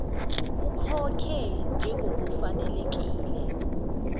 ukhokhe njengoku fanelekile